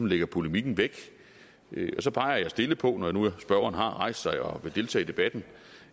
lægger polemikken væk og så peger jeg stille på når nu spørgeren har rejst sig og vil deltage i debatten